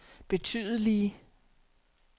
betydelige